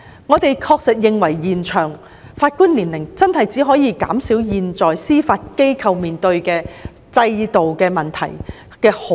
我們確實認為延長法官退休年齡只可稍微減少現時司法機構面對的制度問題。